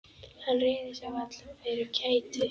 Hann réði sér varla fyrir kæti.